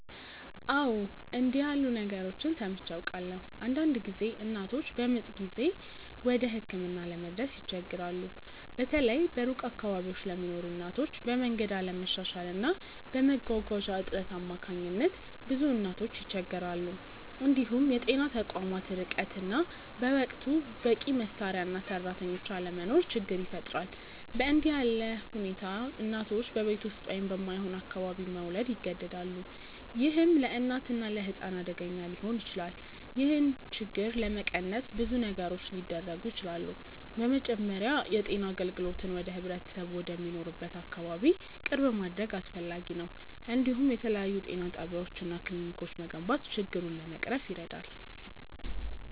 አዎ፣ እንዲህ ያሉ ነገሮችን ሰምቼ አውቃለሁ። አንዳንድ ጊዜ እናቶች በምጥ ጊዜ ወደ ሕክምና ለመድረስ ይቸገራሉ፤ በተለይ በሩቅ አካባቢዎች ለሚኖሩ እናቶች፤ በመንገድ አለመሻሻል እና በመጓጓዣ እጥረት አማካኝነት ብዙ እናቶች ይቸገራሉ። እንዲሁም የጤና ተቋማት ርቀት እና በወቅቱ በቂ መሳሪያ እና ሰራተኞች አለመኖር ችግር ይፈጥራል። በእንዲህ ሁኔታ እናቶች በቤት ውስጥ ወይም በማይሆን አካባቢ መውለድ ይገደዳሉ፣ ይህም ለእናትና ለሕፃን አደገኛ ሊሆን ይችላል። ይህን ችግር ለመቀነስ ብዙ ነገሮች ሊደረጉ ይችላሉ። በመጀመሪያ የጤና አገልግሎትን ወደ ህብረተሰቡ ወደሚኖርበት አካባቢ ቅርብ ማድረግ አስፈላጊ ነው፤ እንዲሁም የተለያዩ ጤና ጣቢያዎች እና ክሊኒኮች መገንባት ችግሩን ለመቅረፍ ይረዳል።